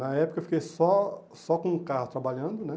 Na época eu fiquei só só com o carro trabalhando, né?